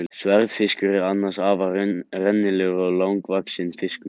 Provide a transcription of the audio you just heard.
Sverðfiskur er annars afar rennilegur og langvaxinn fiskur.